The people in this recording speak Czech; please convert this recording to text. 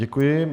Děkuji.